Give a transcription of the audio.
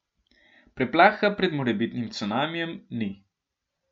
Preplaha pred morebitnim cunamijem ni.